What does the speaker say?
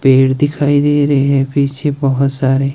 पेड़ दिखाई दे रहे हैं पीछे बहोत सारे।